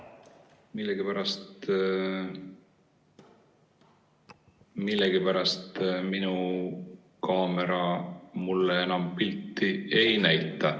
Millegipärast minu kaamera mulle enam pilti ei näita.